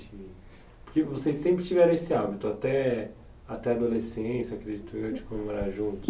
Porque vocês sempre tiveram esse hábito, até até adolescência, acredito eu, de comemorar juntos.